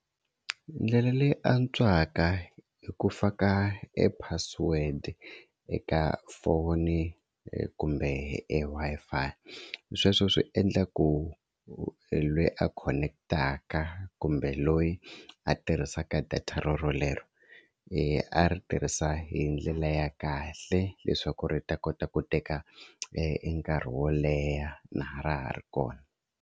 Ndlela leyi antswaka i ku faka e password eka phone kumbe e Wi-Fi sweswo swi endla ku loyi a khoneketaka kumbe loyi a tirhisaka data rorolero i a ri tirhisa hi ndlela ya kahle leswaku ri ta kota ku teka e nkarhi wo leha na ha ra ha ri kona.